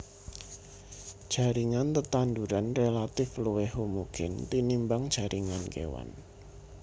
Jaringan tetanduran relatif luwih homogen tinimbang jaringan kéwan